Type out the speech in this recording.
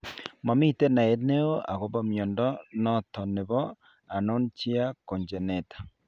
Momiten naet neo agopo mnyondo noton nebo anonychia congenita ?